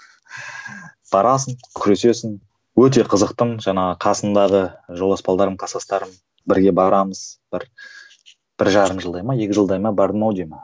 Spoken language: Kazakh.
барасың күресесің өте қызықтым жаңағы қасымдағы жолдас кластастарым бірге барамыз бір бір жарым жылдай ма екі жылдай ма бардым ау деймін